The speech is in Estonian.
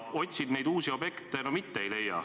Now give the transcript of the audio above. Otsin neid uusi objekte, aga no mitte ei leia.